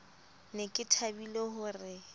ne ke thabile ho re